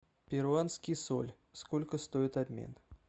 перуанский соль сколько стоит обмен